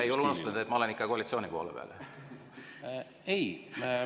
Ega sa ei unusta, et ma olen ikka koalitsiooni poole peal?